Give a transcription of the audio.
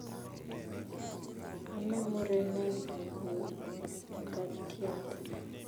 Ame murenet nii mkatiat